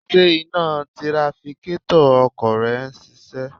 Ṣé iná tirafikétọ̀ ọkọ̀ rẹ ń ṣiṣẹ́?